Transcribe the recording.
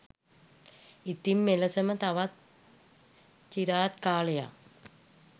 ඉතින් මෙලෙසම තවත් චිරාත් කාලයක්